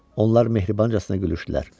Onlar mehribancasına gülüşdülər.